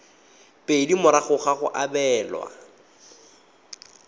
pedi morago ga go abelwa